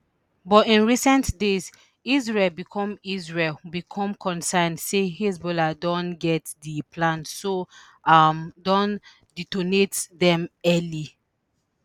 but in recent days israel become israel become concerned say hezbollah don get di plan so um dem detonate dem early